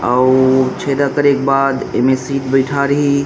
अउ छेदा करे के बाद इमे सीट बैठा रही।